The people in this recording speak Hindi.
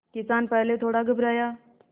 किसान पहले थोड़ा घबराया